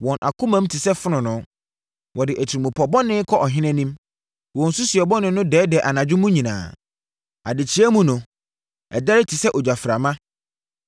Wɔn akoma te sɛ fononoo; wɔde atirimpɔ bɔne kɔ ɔhene anim. Wɔn nsusuiɛ bɔne no dɛɛdɛɛ anadwo mu nyinaa; adekyeeɛ mu no, ɛdɛre te sɛ ogyaframa.